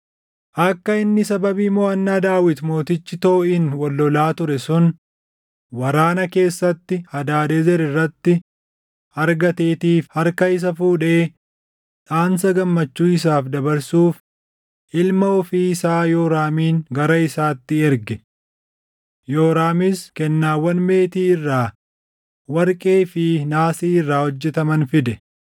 akka inni sababii moʼannaa Daawit Mootichi Tooʼiin wal lolaa ture sun waraana keessatti Hadaadezer irratti argateetiif harka isa fuudhee dhaamsa gammachuu isaaf dabarsuuf ilma ofii isaa Yooraamin gara isaatti erge. Yooraamis kennaawwan meetii irraa, warqee fi naasii irraa hojjetaman fide.